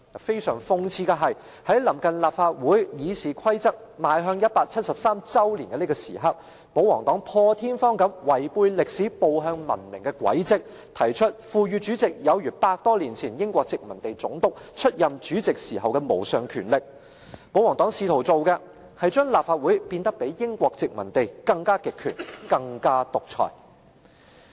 非常諷刺的是，在臨近立法會《議事規則》邁向173周年紀念的這時刻，保皇黨破天荒地違背歷史步向文明的軌跡，提出賦予主席有如百多年前英國殖民地總督出任主席時的無上權力，保皇黨試圖做的是把立法會變得比英國殖民地時代更極權、更獨裁。